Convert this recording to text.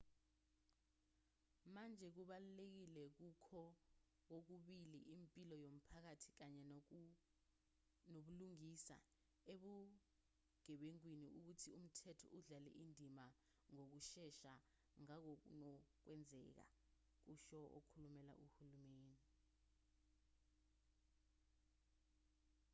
manje kubalulekile kukho kokubili impilo yomphakathi kanye nobulungisa ebugebengwini ukuthi umthetho udlale indima ngokushesha ngangokunokwenzeka kusho okhulumela uhulumeni